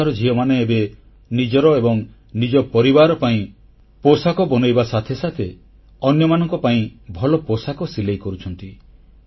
ଏଠିକାର ଝିଅମାନେ ଏବେ ନିଜର ଏବଂ ନିଜ ପରିବାର ପାଇଁ ପୋଷାକ ବନେଇବା ସଙ୍ଗେ ସଙ୍ଗେ ଅନ୍ୟମାନଙ୍କ ପାଇଁ ଭଲ ପୋଷାକ ସିଲେଇ କରୁଛନ୍ତି